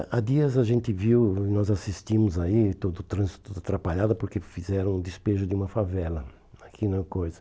Há há dias a gente viu, nós assistimos aí, todo o trânsito atrapalhado, porque fizeram o despejo de uma favela aqui na coisa.